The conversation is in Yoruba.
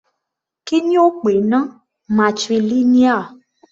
Kí ni ó pè náà, matrilineal?